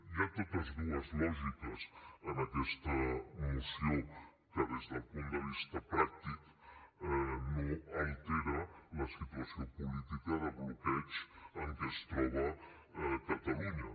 hi ha totes dues lògiques en aquesta moció que des del punt de vista pràctic no altera la situació política de bloqueig en què es troba catalunya